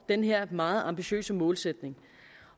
den her meget ambitiøse målsætning